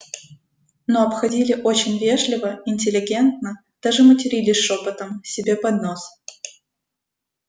но обходили очень вежливо интеллигентно даже матерились шёпотом себе под нос